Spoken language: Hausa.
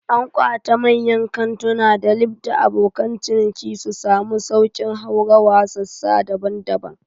An ƙawata mayyan kantuna da lif dan abokan ciniki su samu sauƙin haurawa sassa daban-daban